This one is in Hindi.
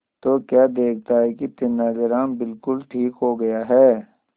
तो क्या देखता है कि तेनालीराम बिल्कुल ठीक हो गया है